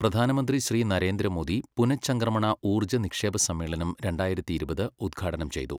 പ്രധാനമന്ത്രി ശ്രീ നരേന്ദ്ര മോദി പുനചംക്രമണ ഊര്ജ്ജ നിക്ഷേപ സമ്മേളനം രണ്ടായിരത്തി ഇരുപത് ഉദ്ഘാടനം ചെയ്തു